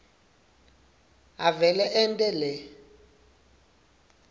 avele ente le